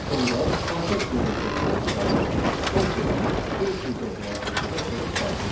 Və sonda kontekst menecerindən çıxaraq son sözünü print funksiyası vasitəsilə ekrana çıxardırıq.